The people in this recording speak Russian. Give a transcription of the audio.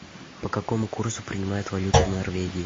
по какому курсу принимают валюту в норвегии